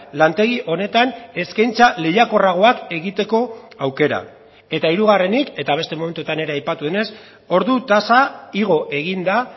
lantegi honetan eskaintza lehiakorragoak egiteko aukera eta hirugarrenik eta beste momentutan ere aipatu denez ordu tasa igo egin da